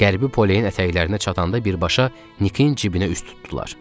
Qərbi Poleyin ətəklərinə çatanda birbaşa Nikin cibinə üz tutdular.